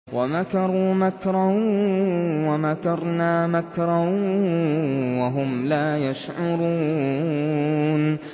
وَمَكَرُوا مَكْرًا وَمَكَرْنَا مَكْرًا وَهُمْ لَا يَشْعُرُونَ